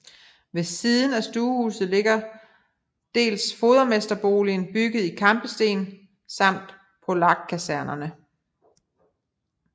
Ved siden af stuehuset ligger dels fodermesterboligen bygget i kampesten samt Polakkasernen